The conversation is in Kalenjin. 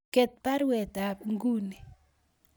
Get baruet ab inguni